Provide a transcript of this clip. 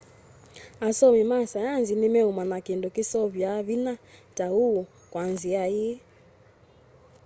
asomi ma saienzi ni meumanya kindu kiseovya vinya ta uu kwa nzia ii